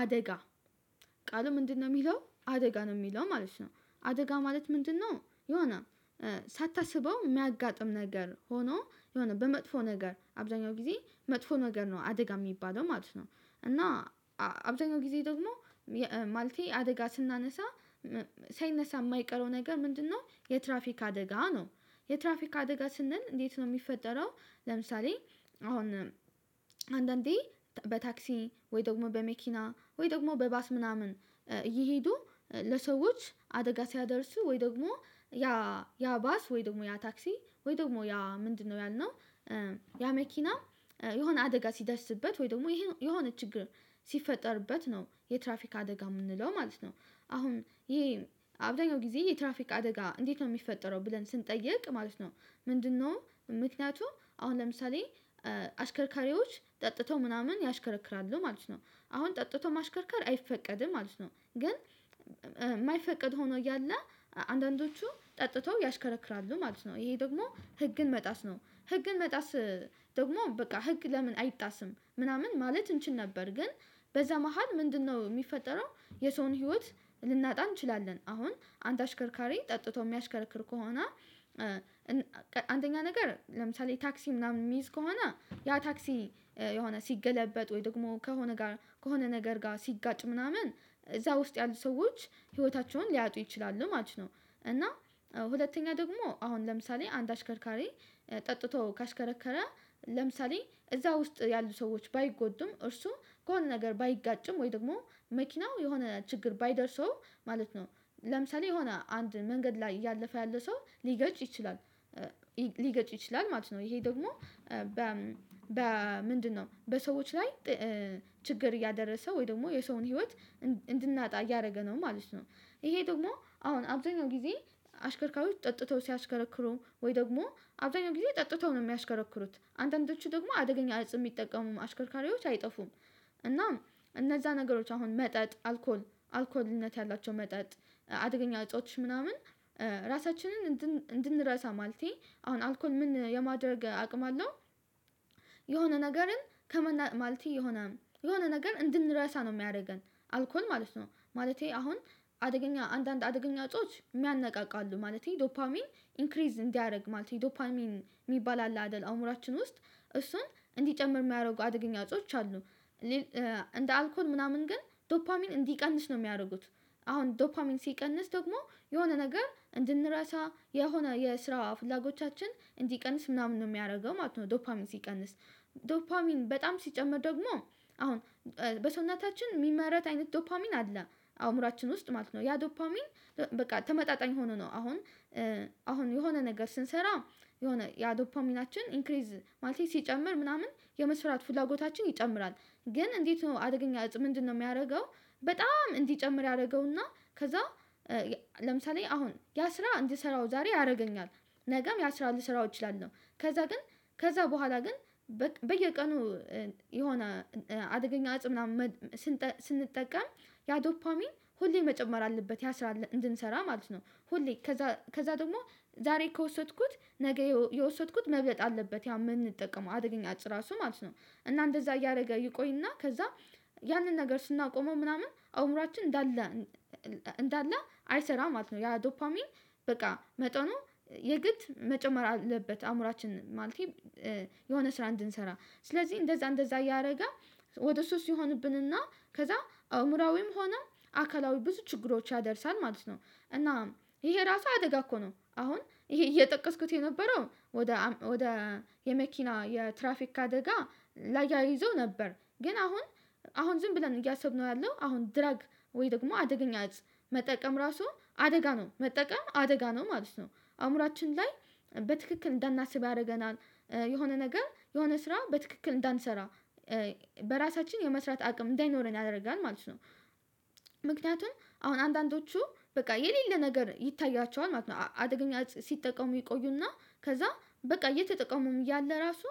አደጋ ቃል ምንድነው የሚለው አደጋ ነው የሚለው ማለት ነው? አደጋ ማለት ምንድነው? የሆነ ሳታስበው የሚያጋጥም ነገር ሆኖ የሆነ በመጥፎ ነገር አብዛኛው ጊዜ መጥፎ ነገር ነው አደጋ የሚባለው ማለት ነው። እና አብዛኛው ጊዜ ደግሞ ማለቴ አደጋ ስናነሳ ሳይነሳ የማይቀረው ነገር ምንድነው? የትራፊክ አደጋ ነው። የትራፊክ አደጋ ስንል እንዴት ነው የሚፈጠረው? ለምሳሌ አሁን አንዳንዴ በታክሲ ወይ ደግሞ በመኪና ወይ ደግሞ በባስ ምናምን እየሄዱ ለሰዎች አደጋ ሲያደርሱ ወይ ደግሞ ያ ያ ባስ ወይ ደግሞ ያ ታክሲ ወይ ደግሞ ያ ምንድነው ያልነው ያ መኪና የሆነ አደጋ ሲዳስበት ወይ ደግሞ የሆነ ችግር ሲፈጠርበት ነው የትራፊካ አደጋ የምንለው ማለት ነው። አሁን ይሄ አብዛኛው ጊዜ የትራፊክ አደጋ እንዴት ነው የሚፈጠረው ብለን ስንጠይቅ ማለት ነው። ምንድነው ምክንያቱም አሁን ለምሳሌ አሽከርካሪዎች ጠጥተው ምናምን ያሽከረክራሉ ማለት ነው አሁን ጠጥቶ ማሽከርከር አይፈቀድም። ማለት ነው። ግን የማይፈቀድ ሆኖ እያለ አንዳንዶቹ ጠጥተው ያሽከረክራሉ ማለት ነው። ይሄ ደግሞ ህግን መጣስ ነው። ህግን መጣስ ደግሞ በቃ ህግ ለምን አይጣስም ምናምን ማለት እንችል ነበር ግን በዛ መሃል ምንድነው የሚፈጠረው? የሰውን ህይወት ልናጣ እንችላለን። አሁን አንድ አሽከርካሪ ጠጥቶ የሚያሽከርክር ከሆነ አንደኛ ነገር ለምሳሌ ታክሲ ምናምን የሚይዝ ከሆነ ያ ታክሲ የሆነ ሲገለበጥ ወይ ደግሞ ከሆነ ጋር ከሆነ ነገር ጋር ሲጋጭ ምናምን እዛ ውስጥ ያሉ ሰዎች ህይወታቸውን ሊያጡ ይችላሉ ማለት ነው። እና ሁለተኛ ደግሞ አሁን ለምሳሌ አንድ አሽከርካሪ ጠጥቶ ካሽከረከረ ለምሳሌ እዛ ውስጥ ያሉ ሰዎች ባይጎዱም እርሱ ከሆነ ነገር ባይጋጭም ወይ ደግሞ መኪናው የሆነ ችግር ባይደርሰው ማለት ነው። ለምሳሌ የሆነ አንድ መንገድ ላይ ያለፈ ያለ ሰው ሊገጭ ይችላል ሊገጭ ይችላል ማለት ነው። ይሄ ደግሞ በ ምንድነው በሰዎች ላይ ችግር እያደረሰ ወይ ደግሞ የሰውን ህይወት እንድናጣ እያደረገ ነው ማለት ነው። ይሄ ደግሞ አሁን አብዛኛው ጊዜ አሽከርካሪዎች ጠጥተው ሲያሽከረክሩ ወይ ደግሞ አብዛኛው ጊዜ ጠጥተው ነው የሚያሽከረክሩት አንደእንዶቹ ደግሞ አደገኛ አጽም የሚጠቀሙ አሽከርካሪዎች አይጠፉም። እናም እነዛ ነገሮች አሁን መጠጥ አልኮል አልኮልነት ያላቸው መጠጥ አደገኛ እጾች ምናምን። ራሳችንን እንድንረሳ ማለቴ አሁን አልኮል ምን የማደርግ አቅም አለው? የሆነ ነገርን ማለቴ የሆነ የሆነ ነገር እንድንረሳ ነው የሚያደርገን አልኮል ማለት ነው። ማለቴ አሁን አደገኛ አንዳንድ አደገኛ እጾች የሚያነቃቁሉ ማለቴ ዶፓሚን ኢንክሪዝ እንዲያደርግ ማለት ነው። ዶፓሚን የሚባል አለ አደል አእምሮአችን ውስጥ እሱን እንዲጨምር የሚያደርጉ አደገኛ እጾች አሉ። እንደ አልኮል ምናምን ግን ዶፓሚን እንዲቀንስ ነው የሚያደርጉት። አሁን ዶፓሚን ሲቀንስ ደግሞ የሆነ ነገር እንድንረሳ የሆነ የስራ ፍላጎቻችን እንዲቀንስ ምናምን ነው የሚያደርገው ማለት ነው። ዶፓሚን ሲቀንስ ዶፓሚን በጣም ሲጨመር ደግሞ አሁን በሰውናታችን የሚመራት አይነት ዶፓሚን አለ አእምሮአችን ውስጥ ማለት ነው ያ ዶፓሚን በቃ ተመጣጣኝ ሆኖ ነው አሁን አሁን የሆነ ነገር ስንሰራ የሆነ ያ ዶፓሚናችን ኢንክሪዝ ማለቴ ሲጨምር ምናምን የመስራት ፍላጎታችን ይጨምራል። ግን እንዴት ነው አደገኛ እፅ ምንድነው የሚያደርገው? በጣም እንዲጨምር ያደርገውና ከዛ ለምሳሌ አሁን ያ ስራ እንድሰራው ዛሬ ያደርገኛል። ነገም ያ ስራ አራት ስራ እችላለሁ ከዛ ግን ከዛ በኋላ ግን በየቀኑ የሆነ አደገኛ እፅ ምናምን ስንጠቀም ያ ዶፓሚን ሁሌ መጨመር አለበት ያ ስራ እንድንሰራ ማለት ነው። ሁሌ ከዛ ደግሞ ዛሬ ከወሰድኩት ነገ የወሰድኩት መብለጥ አለበት ያ የምንጠቀመው አድገኛ እጵ ራሱ ማለት ነው። እና እንደዛ እያደረገ ይቆይና ከዛ ያንን ነገር ስናቆመው ምናምን አእምሯችን እንዳለ እንዳለ አይሰራም ማለት ነው። ያ ዶፓሚን በቃ መጠኑ የግድ መጨመር አለበት። አእምሮአችን ማለቴ የሆነ ስራ እንድንሰራ ስለዚህ እንደዛ እንደዛ እያደረገ ወደ ሶስት ሲሆንብን እና ከዛ አእምሮአዊም ሆነ አካላዊ ብዙ ችግሮች ያደርሳል ማለት ነው። እና ይሄ ራሱ አደጋ እኮ ነው። አሁን ይሄ እየጠቀስኩት የነበረው ወደ ወደ የመኪና የትራፊክ አደጋ ላይ ይዞ ነበር። ግን አሁን አሁን ዝም ብለን እያሰብነው ያለው አሁን ድራግ ወይ ደግሞ አደገኛ እፅ መጠቀም ራሱ አደጋ ነው። መጠቀም አደጋ ነው ማለት ነው። አእምሮአችን ላይ በትክክል እንዳናስብ ያደርገናል። የሆነ ነገር የሆነ ስራ በትክክል እንዳንሰራ በራሳችን የመስራት አቅም እንዳይኖረን ያደርጋል ማለት ነው። ምክንያቱም አሁን አንዳንዶቹ በቃ የሌለ ነገር ይታያቸዋል ማለት ነው። አደገኛ እፅ ሲጠቀሙ ይቆዩና ከዛ በቃ እየተጠቀሙም ያለ ራሱ